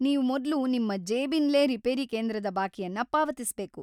ನೀವು ಮೊದ್ಲು ನಿಮ್ಮ ಜೇಬಿಂದ್ಲೇ ರಿಪೇರಿ ಕೇಂದ್ರದ ಬಾಕಿಯನ್ನ ಪಾವತಿಸ್ಬೇಕು.